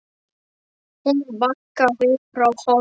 Hún bakkaði frá honum.